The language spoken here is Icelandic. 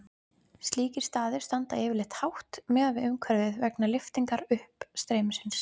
Slíkir staðir standa yfirleitt hátt miðað við umhverfið vegna lyftingar uppstreymisins.